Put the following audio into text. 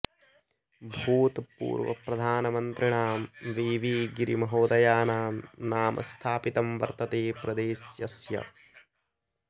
भूतपूर्वप्रधानमन्त्रिणां V V गिरिमहोदयानां नाम स्थापितं वर्तते प्रदेशस्यास्य